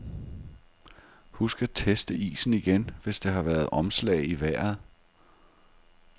Husk at teste isen igen, hvis der har været omslag i vejret.